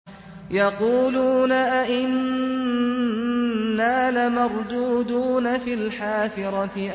يَقُولُونَ أَإِنَّا لَمَرْدُودُونَ فِي الْحَافِرَةِ